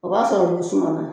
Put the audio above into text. O b'a sɔrɔ olu sumana